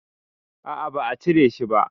A'a ba a cire shi ba